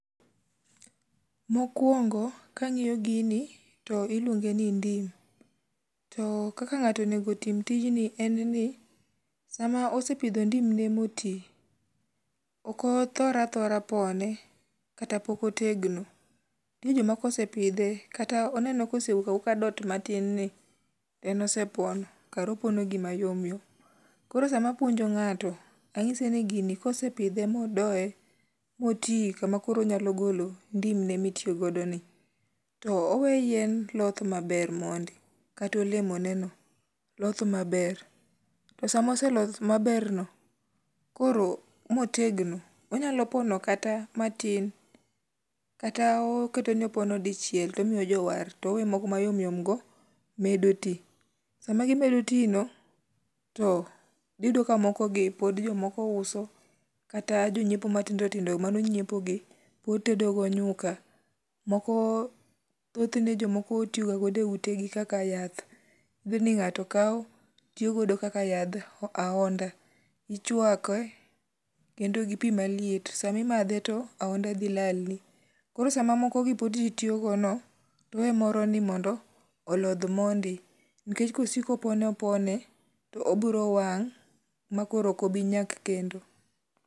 Mokwongo kang'iyo gini to iluonge ni ndim to kaka ng'ato onego tim tijni en ni sama osepidho ndimne moti, okothor athora pone kata pok otegno. Nitie joma kosepidhe kata oneno kosewuok awuoka dot matinni to en osepono kara opono gima yomyom. Koro sama apuonjo ng'ato ang'ise ni gini kosepidhe modoye moti kama koro onyalo golo ndimne mitiyogodoni to oweyo yien loth maber mondi kata olemoneno loth maber. To sama oseloth maber no koro motegno onyalo pono kata matin kata oketoni opono dichiel tomiyo jowar toweyo moko mayomyom go medo ti. Sama gimedo ti no, to dhityudo ka mokogi pod jomoko uso kata jonyiepo matindotindo manonyiepo gi pod tedogo nyuka, thothne jomoko tiyogagodo e utegi kaka yath dhi ni ng'ato kawo tiyogo kaka yadh ahonda ichwake kendo gi pi maliet samimadhe to aho0nda dhi lalni. Koro sama mokogi pod ji tiyogono to owe moroni mondo olodh mondi nikech kosiko opone opone to obiro wang' ma koro okobinyak kendo.